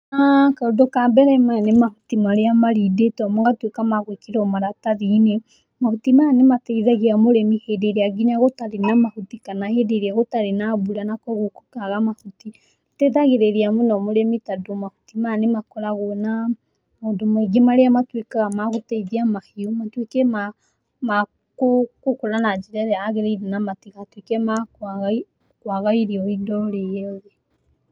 Kaũndũ ka mbere maya nĩ mahuti marĩa marindĩtwo magatuĩka ma gwĩkĩrwo maratathi-inĩ, mahuti maya nĩ mateithagia mũrĩmi hĩndĩ ĩrĩa nginya gũtarĩ na mahuti kana hĩndĩ ĩrĩa gũtarĩ na mbura na kũguo gũkaga mahuti, gũteithagirĩria mũno mũrĩmi tondũ mahuti maya nĩ makoragwo na maũndũ maingĩ marĩa matuĩkaga ma gũteithia mahiũ matuĩke ma gũkũra na njĩra ĩrĩa yagĩrĩire na matigatuĩke ma kwaga irio orĩ orĩ.